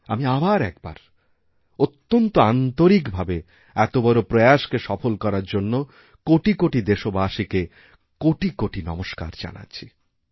আমি আবারএকবার অত্যন্ত আন্তরিকভাবে এত বড় প্রয়াসকে সফল করার জন্য কোটি কোটি দেশবাসীকে কোটিকোটি নমস্কার করছি